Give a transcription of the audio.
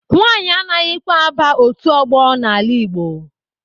Nwanyị anaghịkwa aba otu ọgbọ n'ala Igbo.